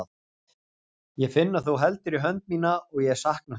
Ég finn að þú heldur í hönd mína og ég sakna þín.